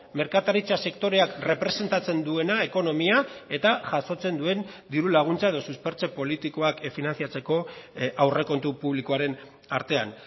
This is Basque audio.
merkataritza sektoreak errepresentatzen duena ekonomia eta jasotzen duen diru laguntza edo suspertze politikoak finantzatzeko aurrekontu publikoaren artean